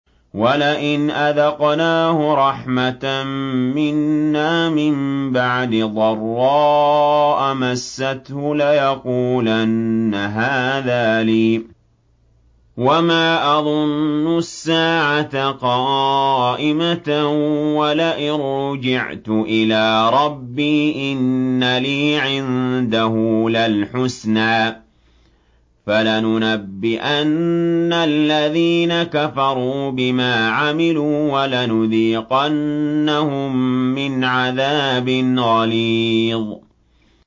وَلَئِنْ أَذَقْنَاهُ رَحْمَةً مِّنَّا مِن بَعْدِ ضَرَّاءَ مَسَّتْهُ لَيَقُولَنَّ هَٰذَا لِي وَمَا أَظُنُّ السَّاعَةَ قَائِمَةً وَلَئِن رُّجِعْتُ إِلَىٰ رَبِّي إِنَّ لِي عِندَهُ لَلْحُسْنَىٰ ۚ فَلَنُنَبِّئَنَّ الَّذِينَ كَفَرُوا بِمَا عَمِلُوا وَلَنُذِيقَنَّهُم مِّنْ عَذَابٍ غَلِيظٍ